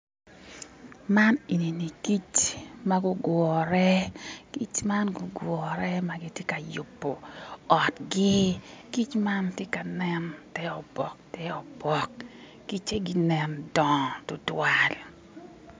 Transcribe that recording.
Man eni ni kic ma gugure, kic ma gugure ma gitye ka yubo otgi kic ma tye ka nen te obok te obok kice ginen dongo tutwal